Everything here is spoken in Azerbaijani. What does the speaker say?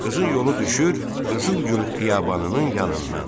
Qızın yolu düşür qızıl gül xiyabanının yanından.